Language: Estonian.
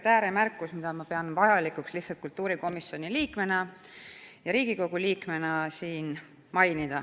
Kõigepealt ääremärkus, mida ma pean vajalikuks kultuurikomisjoni liikmena ja ühtlasi Riigikogu liikmena siin mainida.